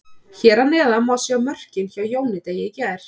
Hér að neðan má sjá mörkin hjá Jóni Degi í gær.